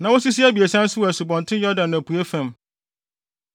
na wosisi abiɛsa nso wɔ Asubɔnten Yordan apuei fam.